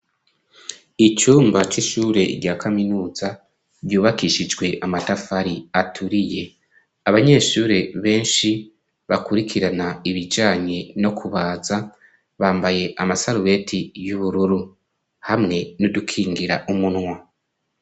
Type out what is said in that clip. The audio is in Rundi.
icumba c'ishure rya kaminuza ryubakishijwe amatafari aturiye. Abanyeshure benshi bakurikirana ibijanye no kubaza bambaye amasarubeti y'ubururu hamwe n'udukingira umunwa.